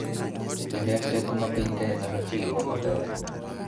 Kendo en teko ma piny Kenya nyalo tiyogo maber .